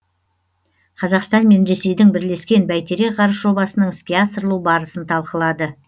қазақстан мен ресейдің бірлескен бәйтерек ғарыш жобасының іске асырылу барысын талқылады